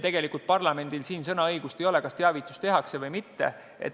Tegelikult parlamendil sõnaõigust ei ole, kas teavitus tehakse või mitte.